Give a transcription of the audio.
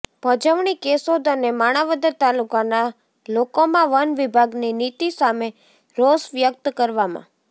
પજવણી કેશોદ અને માણાવદર તાલુકાના લોકોમાં વન વિભાગની નીતિ સામે રોષ વ્યક્ત કરવામાં